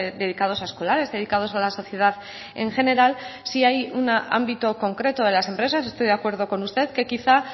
dedicados a escolares dedicados a la sociedad en general sí hay un ámbito concreto de las empresas estoy de acuerdo con usted que quizá